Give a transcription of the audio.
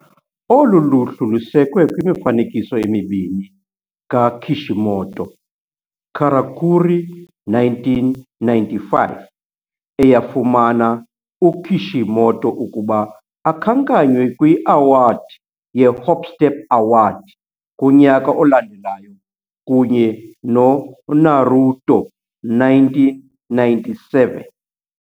Olu luhlu lusekwe kwimifanekiso emibini kaKishimoto - Karakuri, 1995, eyafumana uKishimoto ukuba akhankanywe kwi-Award ye-Hop Step Award kunyaka olandelayo, kunye no-Naruto, 1997.